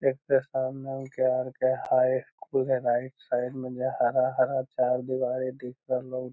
हाई school हेय right side में हरा-हरा चार दिवारी दिख रहलो।